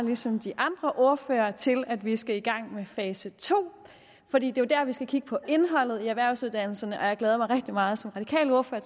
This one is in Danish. ligesom de andre ordførere til at vi skal i gang med fase to for det er jo dér vi skal kigge på indholdet i erhvervsuddannelserne og jeg glæder mig som radikal ordfører